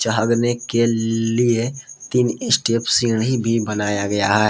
हगने के लिए तीन स्टेप सीढ़ी भी बनाया गया है।